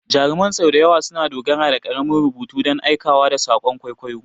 Jaruman sau da yawa suna dogara da ƙaramin rubutu don aikewa da saƙon kwaikwayo.